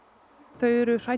þau eru hrædd